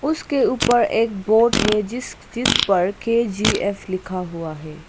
उसके ऊपर एक बोर्ड है जिस जिस पर के_जी_एफ लिखा हुआ है।